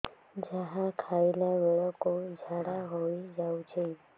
ଯାହା ଖାଇଲା ବେଳକୁ ଝାଡ଼ା ହୋଇ ଯାଉଛି